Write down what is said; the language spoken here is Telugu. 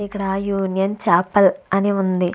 ఇక్కడ యూనియన్ చాపల్ అని ఉంది.